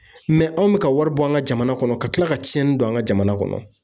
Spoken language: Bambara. anw bɛ ka wari bɔ an ka jamana kɔnɔ ka tila ka cɛnni don an ka jamana kɔnɔ.